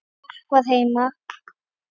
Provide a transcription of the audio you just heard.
Fólk var heima.